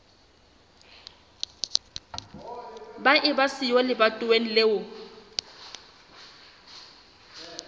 ba eba siyo lebatoweng leo